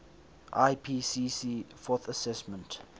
ipcc fourth assessment